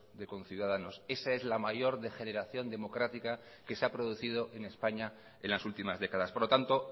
de conciudadanos esa es la mayor degeneración democrática que se ha producido en españa en las últimas décadas por lo tanto